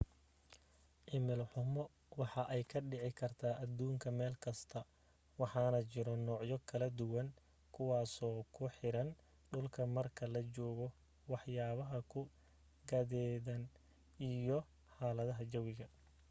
cimilo xumo waxa ay ka dhici kartaa aduunka meel kasto waxaana jiro nuucyo kala duwan kuwaaso ku xiran dhulka marka la joogo wax yaabaha ku gadeedan iyo xaalada jawiga